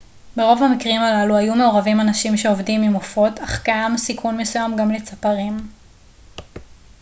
ברוב המקרים הללו היו מעורבים אנשים שעובדים עם עופות אך קיים סיכון מסוים גם לצפרים